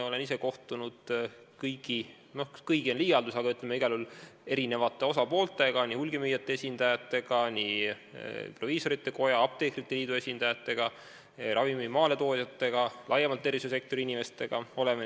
Olen ise kohtunud kõigi, või no see on liialdus, aga igal juhul eri osapooltega: nii hulgimüüjate esindajatega, nii proviisorite koja kui ka apteekrite liidu esindajatega, ravimi maaletoojatega, tervishoiusektori inimestega laiemalt.